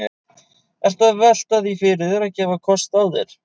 Ertu að velta því fyrir þér að, að gefa kost á þér?